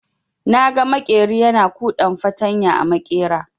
Naga maƙeri yana kuɗan fartanya a maƙera.